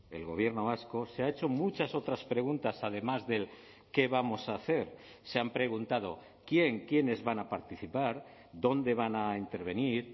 el gobierno vasco se ha hecho muchas otras preguntas además del qué vamos a hacer se han preguntado quién quiénes van a participar dónde van a intervenir